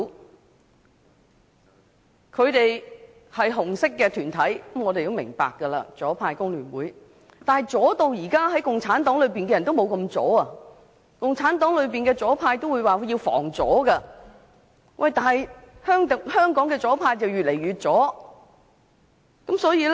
我們明白他們屬於"紅色"團體，是左派的工聯會，但是，如今連共產黨也不及他們左，共產黨說要"防左"，反觀香港的左派卻越來越左。